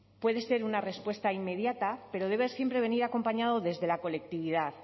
puede ser una respuesta inmediata pero debe siempre venir acompañado desde la colectividad